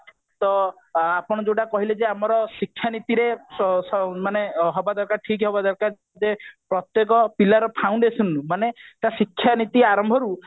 ଆପଣ ଯୋଉଟା କହିଲେ ଯେ ଶିକ୍ଷା ନୀତିରେ ହବା ଦରକାର ମାନେ ଠିକ ହବା ଦରକାର ଯେ ପ୍ରତ୍ଯେକ ପିଲାର foundation ରୁ ମାନେ ତା ଶିକ୍ଷା ନୀତି ଆରମ୍ଭରୁ